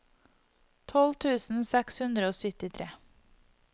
tolv tusen seks hundre og syttitre